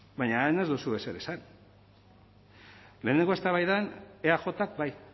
baina han ez duzue ezer esan lehenengo eztabaidan eajk bai